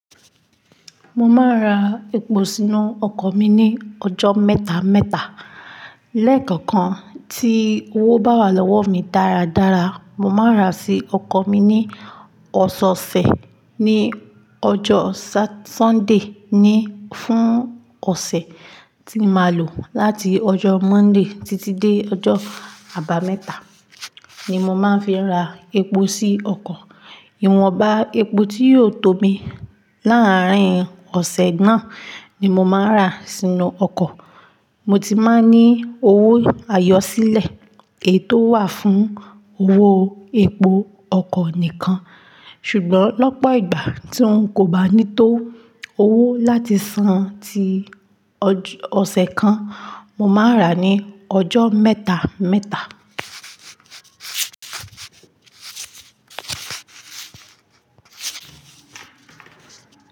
Mo máa ń ra epo sínú ọkọ̀ mi ní ọjọ́ mẹ́ta mẹ́ta. Lẹ́ẹ̀kọ̀kan tí owó bá wà lọ́wọ́ mi dáradára, mo máa ń rà sí ọkọ̀ mi ní ọ̀sẹ̀ ọ̀sẹ̀. Ní ọjọ́ Sat sunday ni fún ọ̀sẹ̀ tí màá lò láti ọjọ́ Monday títí dé ọjọ́ àbámẹ́ta ni mo máa ń fi ra epo sí ọkọ̀. Ìwọ̀nba epo tí yóò tó mi láàárín ọ̀sẹ̀ náà ni mo máa ń rà sínú ọkọ̀. Mo ti máa ń ní owó àyọ́ sílẹ̀ èyí tó wà fún owó epo ọkọ̀ nìkan. Ṣùgbọ́n lọ́pọ̀ ìgbà tí n kò bá ní tó owó láti san tí ọ̀sẹ̀ kan, mo máa ń rà ní ọjọ́ mẹ́ta mẹ́ta.